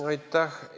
Aitäh!